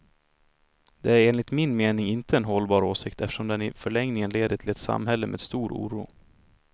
Det är enligt min mening inte en hållbar åsikt, eftersom den i förlängningen leder till ett samhälle med stor oro.